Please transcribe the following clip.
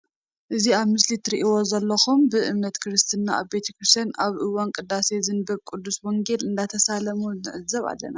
አዚ ኣብ ምስሊ ትሬኡዎ ዘለኩም ብ እምነት ክርስተና ኣብ ቤት ክርስትያን ኣብ እዋን ቅዳሴ ዝተንበብ ቅዱስ ወንጌል እናተሳለሙ ንዕዘብ ኣለና።